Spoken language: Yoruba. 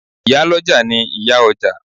Ìyá lọ́jà ni ìyá ọjà.